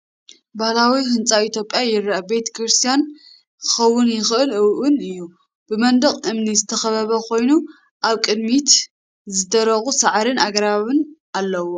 ባህላዊ ህንፃ ኢትዮጵያ ይረአ፤ ቤተ ክርስቲያን ክኸውን ይኽእል እውን እዩ። ብመንደቕ እምኒ ዝተኸበበ ኮይኑ፡ ኣብ ቅድሚት ዝደረቑ ሳዕርን ኣግራብን ኣለውዎ።